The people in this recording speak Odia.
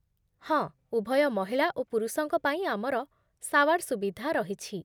ହଁ, ଉଭୟ ମହିଳା ଓ ପୁରୁଷଙ୍କ ପାଇଁ ଆମର ସାୱାର୍ ସୁବିଧା ରହିଛି